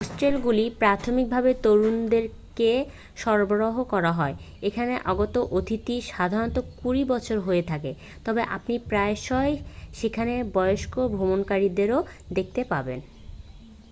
হোস্টেলগুলি প্রাথমিকভাবে তরুণদেরকে সরবরাহ করা হয় এখানে আগত অতিথিরা সাধারণত কুড়ি বছরের হয়ে থাকে তবে আপনি প্রায়শই সেখানে বয়স্ক ভ্রমণকারীদেরও দেখতে পাবেন